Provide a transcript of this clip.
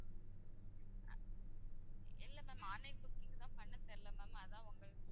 இல்ல ma'am online booking லாம் பண்ணத் தெரியல ma'am அதான் உங்ககிட்ட